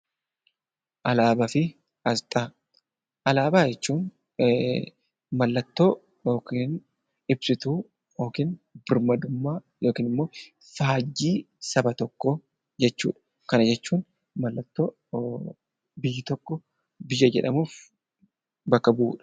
Alaabaa fi asxaa Alaabaa jechuun mallattoo yookaan ibsituu yookaan birmadummaa yookiin immoo faajjii saba tokkoo jechuudha. Kana jechuun mallattoo biyyi tokko biyya jedhamuuf bakka bu'udha.